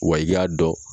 Wa i y'a dɔn